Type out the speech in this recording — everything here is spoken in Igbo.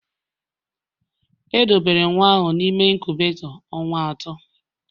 Edobere nwa ahụ n'ime inkubetoo ọnwa atọ